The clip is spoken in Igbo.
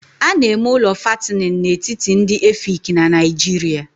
A na-eme ụlọ fattening n'etiti ndị Efik na Nigeria